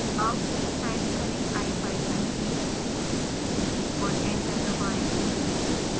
अब टाइप करें ipython3 और एंटर दबाएं